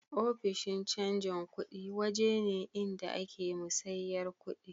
Ofishin canji kudi waje ne inda a ke musayyar kudi